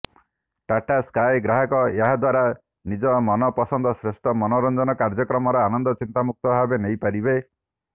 Tata Sky ଗ୍ରାହକ ଏହାଦ୍ୱାରା ନିଜ ମନପସନ୍ଦର ଶ୍ରେଷ୍ଠ ମନୋରଂଜନ କାର୍ଯ୍ୟକ୍ରମର ଆନନ୍ଦ ଚିନ୍ତାମୁକ୍ତ ଭାବେ ନେଇ ପାରିବେ